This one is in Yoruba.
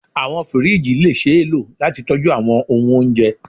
Awọn firiji le ṣee lo lati tọju awọn ohun ounjẹ